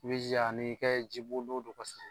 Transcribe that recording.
I b'i jija ani i ka jibondon don kosɛbɛ